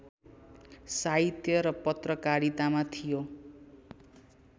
साहित्य र पत्रकारितामा थियो